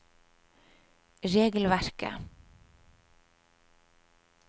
regelverket